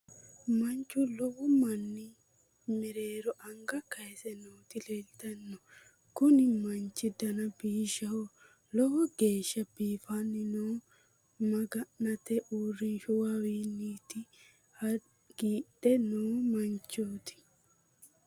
Manchu lowo manni mereero anga kayise nooti leeltanno kuni manchi dana biishshaho lowo geeshsha biifanno noohu maga'note uurinshshuwawaati hagiidhe noo manchooti